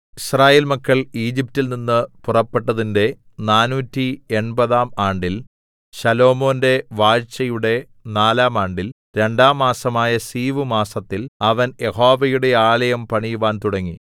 യിസ്രായേൽ മക്കൾ ഈജിപ്റ്റിൽ നിന്ന് പുറപ്പെട്ടതിന്റെ നാനൂറ്റി എൺപതാം ആണ്ടിൽ ശലോമോന്റെ വാഴ്ചയുടെ നാലാം ആണ്ടിൽ രണ്ടാം മാസമായ സീവ് മാസത്തിൽ അവൻ യഹോവയുടെ ആലയം പണിയുവാൻ തുടങ്ങി